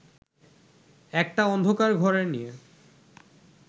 একটা অন্ধকার ঘরে নিয়ে